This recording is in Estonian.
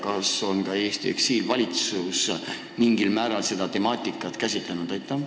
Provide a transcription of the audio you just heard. Kas ka Eesti eksiilvalitsus on mingil määral seda temaatikat käsitlenud?